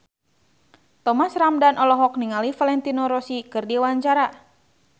Thomas Ramdhan olohok ningali Valentino Rossi keur diwawancara